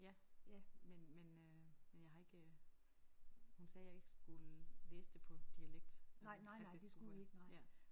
Ja men men øh men jeg har ikke øh. Hun sagde jeg ikke skulle læse det på dialekt at at det skulle ja